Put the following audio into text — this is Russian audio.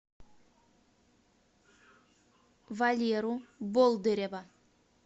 валеру болдырева